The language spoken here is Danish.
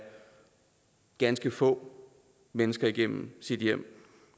ganske få mennesker igennem sit hjem